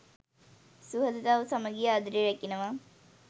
සුහදතාව, සමඟිය, ආදරය රැකෙනවා.